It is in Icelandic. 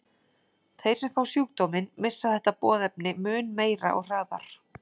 Þeir sem fá sjúkdóminn missa þetta boðefni mun meira og hraðar.